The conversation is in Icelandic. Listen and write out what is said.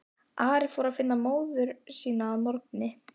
Ari fór að finna móður sína að morgni.